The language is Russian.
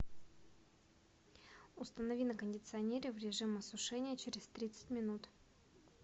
установи на кондиционере в режим осушения через тридцать минут